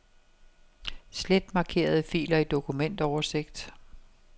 Slet markerede filer i dokumentoversigt.